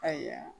Ayiwa